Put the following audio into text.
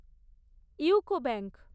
UCO bank